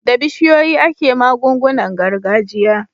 Da bishiyoyi ake magungunan gargajiya.